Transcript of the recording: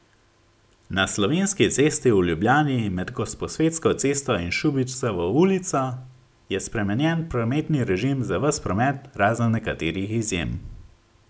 Na Slovenski cesti v Ljubljani med Gosposvetsko cesto in Šubičevo ulico je spremenjen prometni režim za ves promet, razen nekaterih izjem.